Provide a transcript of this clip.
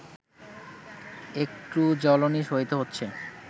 একটু জ্বলুনি সইতে হচ্ছে